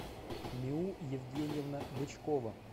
миу евгеньевна бычкова